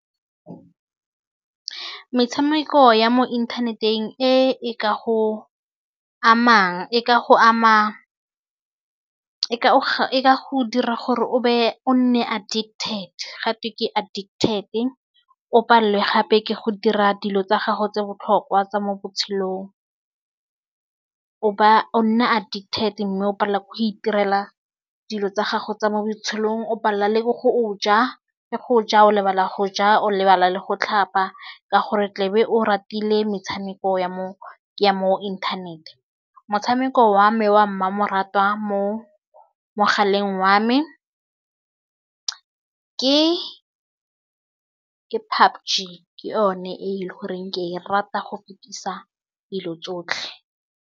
Metshameko ya mo inthaneteng e e ka go amang e ka go ama e ka go dira gore o be o nne addicted ga twe ke addicted o palelwe gape ke go dira dilo tsa gago tse botlhokwa tsa mo botshelong o nna addicted mme o palela ke go itirela dilo tsa gago tsa mo botshelong o palela le go o ja le go ja o lebala go ja o lebala le go tlhapa ka gore tle be o ratile metshameko ya mo inthanete motshameko wa mekgwa mmamoratwa mo mogaleng wa me ke PUBG ke yone e le goreng ke e rata go fetisa dilo tsotlhe.